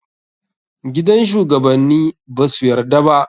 Gidan shugabanni basu yarda ba.